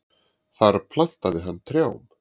Þar plantaði hann trjám.